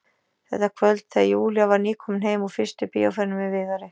Þetta kvöld þegar Júlía var nýkomin heim úr fyrstu bíóferðinni með Viðari.